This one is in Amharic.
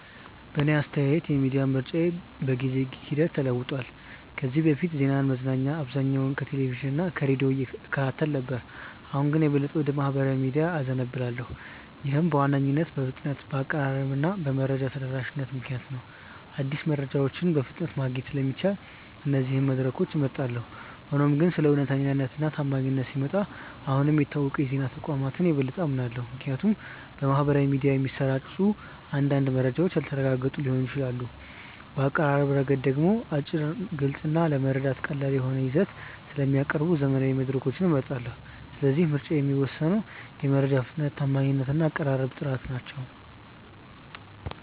በእኔ አስተያየት የሚዲያ ምርጫዬ በጊዜ ሂደት ተለውጧል። ከዚህ በፊት ዜናና መዝናኛ በአብዛኛው ከቴሌቪዥን እና ከሬዲዮ እከታተል ነበር፣ አሁን ግን የበለጠ ወደ ማኅበራዊ ሚዲያዎች እዘነብላለሁ። ይህም በዋነኝነት በፍጥነት፣ በአቀራረብ እና በመረጃ ተደራሽነት ምክንያት ነው። አዲስ መረጃዎችን በፍጥነት ማግኘት ስለሚቻል እነዚህን መድረኮች እመርጣለሁ። ሆኖም ግን ስለ እውነተኛነት እና ታማኝነት ሲመጣ አሁንም የታወቁ የዜና ተቋማትን የበለጠ አምናለሁ፣ ምክንያቱም በማኅበራዊ ሚዲያ የሚሰራጩ አንዳንድ መረጃዎች ያልተረጋገጡ ሊሆኑ ይችላሉ። በአቀራረብ ረገድ ደግሞ አጭር፣ ግልጽ እና ለመረዳት ቀላል የሆነ ይዘት ስለሚያቀርቡ ዘመናዊ መድረኮችን እመርጣለሁ። ስለዚህ ምርጫዬን የሚወስኑት የመረጃ ፍጥነት፣ ታማኝነት እና የአቀራረብ ጥራት ናቸው።